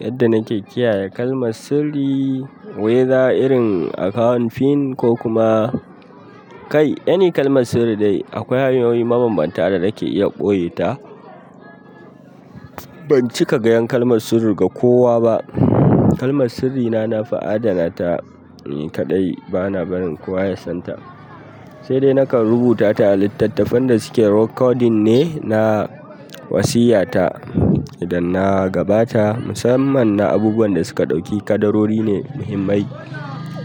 Yadda nake kiyaye kalmar sirri, whether irin account pin ko kuma kai, any kalmar sirri dai akwai hanyoyi mabanbanta da nake iya ɓoye ta. Ban cika gayan kalmar sirri ga kowa ba kalmar sirri na, na fi adana ta ni kaɗai bana barin kowa ya san ta. Sai dai nakan rubuta ta a littattafan da suke recording ne, na wasiya ta idan na gabata. Musamman na abubuwan da suka ɗauki kadarori ne muhimmai